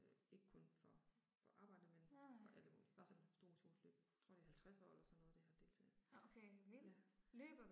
Ikke kun for for arbejdet men for alle mulige bare sådan stort motionsløb. Jeg tror det er 50 eller sådan noget det har deltaget. Ja